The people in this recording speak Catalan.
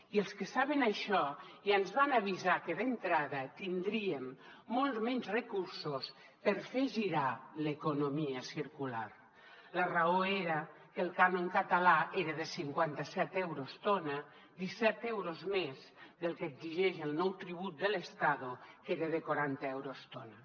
i els que saben això ja ens van avisar que d’entrada tindríem molts menys recursos per fer girar l’economia circular la raó era que el cànon català era de cinquanta set euros tona disset euros més del que exigeix el nou tribut de l’estado que era de quaranta euros tona